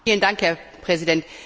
Herr Präsident!